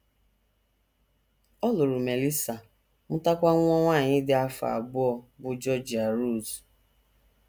Ọ lụrụ Melissa, mụtakwa nwa nwanyị dị afọ abụọ, bụ́ Georgia Rose.